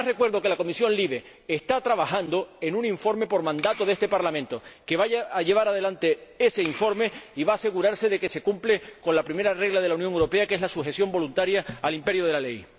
Pero, además, recuerdo que la Comisión LIBE está trabajando en un informe por mandato de este Parlamento y que va a llevar adelante ese informe y va a asegurarse de que se cumple con la primera regla de la Unión Europea, que es la sujeción voluntaria al imperio de la ley.